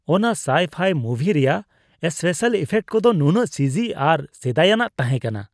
ᱚᱱᱟ sci-fi movie ᱨᱮᱭᱟᱜ special effect ᱠᱚᱫᱚ ᱱᱩᱱᱟᱹᱜ ᱪᱤᱡᱤ ᱟᱨ ᱥᱮᱫᱟᱭᱟᱜ ᱛᱟᱦᱮᱸ ᱠᱟᱱᱟ ᱾